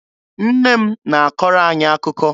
Nne m na-akọrọ anyị akụkọ.